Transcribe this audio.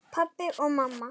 Pabbi og mamma